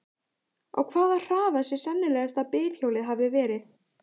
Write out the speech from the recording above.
Á hvaða hraða sé sennilegast að bifhjólið hafi verið?